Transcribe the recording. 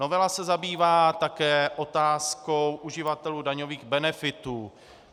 Novela se zabývá také otázkou uživatelů daňových benefitů.